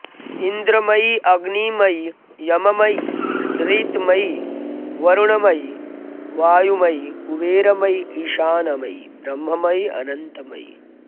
इन्द्रमयि अग्निमयि यममयि निरृतमयि वरुणमयि वायुमयि कुबेरमयि ईशानमयि ब्रह्ममयि अनन्तमयि